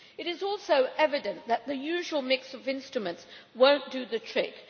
It is also evident that the usual mix of instruments will not do the trick.